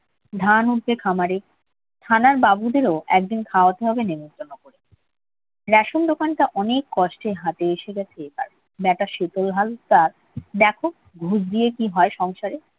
ধান উঠবে খামারে। থানার বাবুদেরও একদিন খাওয়াতে হবে নেমন্তন্ন করে। রেশন দোকানটা অনেক কষ্টে হাতে এসে গেছে তার। ব্যাটা শীতল হালদার দেখুক ঘুষ দিয়ে কি হয় সংসারে?